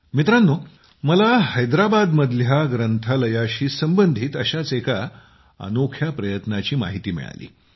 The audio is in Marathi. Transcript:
मित्रांनो मला हैदराबादमधल्या ग्रंथालयाशी संबंधित अशाच एका अनोख्या प्रयत्नाची माहिती मिळाली